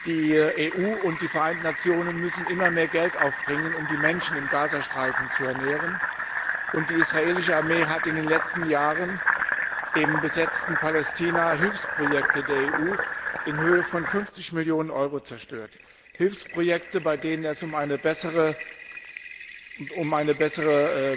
Die EU und die Vereinten Nationen müssen immer mehr Geld aufbringen, um die Menschen im Gazastreifen zu ernähren, und die israelische Armee hat in den letzten Jahren im besetzten Palästina Hilfsprojekte der EU in Höhe von 50 Millionen Euro zerstört. Hilfsprojekte, bei denen es um bessere